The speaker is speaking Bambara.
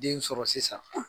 Den sɔrɔ sisan;